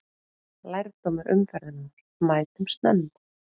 Lærdómur umferðarinnar: Mætum snemma!